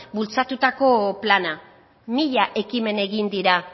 bultzatutako plana mila ekimen egin dira